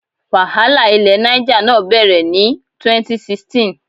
Wàhálà ilẹ̀ Niger náà bẹ̀rẹ̀ ní 2016.